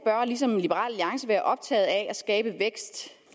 ligesom liberal alliance være optaget af at skabe vækst